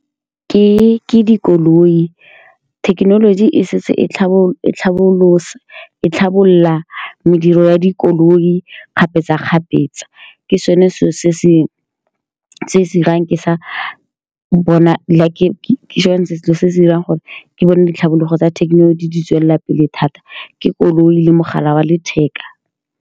Ke_ke dikoloi thekenoloji e setse e tlhalosa, e tlhabolola mediro ya dikoloi kgapetsa-kgapetsa. Ke sone seo se-se-se-se 'irang ke sa bona la ke-ke sone se se se se dirang gore ke bone ditlhabologo tsa thekenoloji di tswelela pele, thata ke koloi le mogala wa letheka.